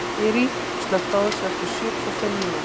Þyri, slökktu á þessu eftir sjötíu og fimm mínútur.